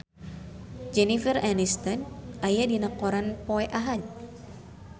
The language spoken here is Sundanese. Jennifer Aniston aya dina koran poe Ahad